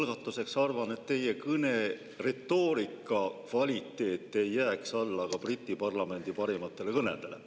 Ma arvan, et teie kõne retoorika kvaliteet ei jää alla ka Briti parlamendi parimatele kõnedele.